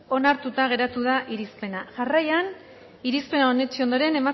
onartuta geratu da irizpena jarraian irizpena onetsi ondoren